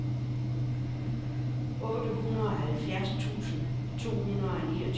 otteoghalvfems tusind to hundrede og niogtyve